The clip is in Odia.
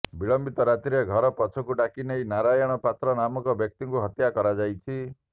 ବିଳମ୍ବିତ ରାତିରେ ଘର ପଛକୁ ଡାକି ନେଇ ନାରାୟଣ ପାତ୍ର ନାମକ ବ୍ୟକ୍ତିଙ୍କୁ ହତ୍ୟା କରାଯାଇଛି